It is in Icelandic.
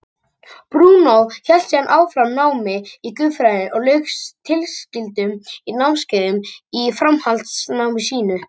Brúnó hélt síðan áfram námi í guðfræði og lauk tilskildum námskeiðum í framhaldsnámi sínu.